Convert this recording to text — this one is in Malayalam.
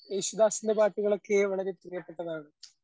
യേശുദാസിന്റെ പാട്ടുകളൊക്കെ വളരെ പ്രിയപ്പെട്ടതാണ്.